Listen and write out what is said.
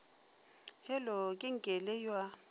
hello ke nkele yo a